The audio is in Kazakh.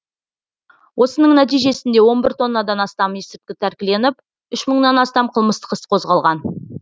осының нәтижесінде он бір тоннадан астам есірткі тәркіленіп үш мыңнан астам қылмыстық іс қозғалған